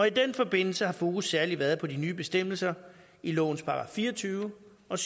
i den forbindelse har fokus særlig været på de nye bestemmelser i lovens § fire og tyve og